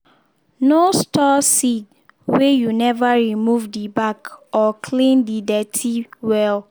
no store seed weh you never remove the back or clean the dirty wel.